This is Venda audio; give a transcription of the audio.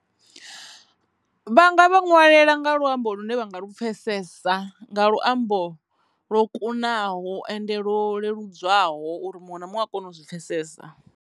Vha nga vha ṅwalela nga luambo lune vhanga lu pfhesesa nga luambo ḽo kunaho ende lwo leludzwaho uri muṅwe na muṅwe a kone u zwi pfhesesa.